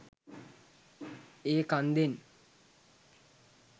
ඒ කන්දෙන්